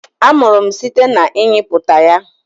amuru m site na ịnyịputa ya.